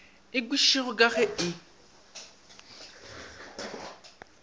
e kwešišege ka ge e